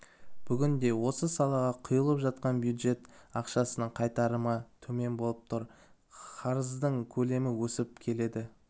бүгінде осы салаға құйылып жатқан бюджет ақшасының қайтарымы төмен болып тұр қарыздың көлемі өсіп келеді